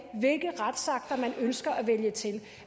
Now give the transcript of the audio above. hvilke retsakter man ønsker at vælge til